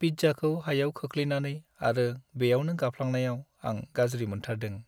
पिज्जाखौ हायाव खोख्लैनानै आरो बेयावनो गाफ्लांनायाव आं गाज्रि मोनथारदों।